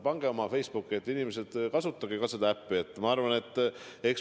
Pange oma Facebooki, et, inimesed, kasutage seda äppi!